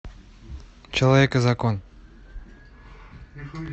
человек и закон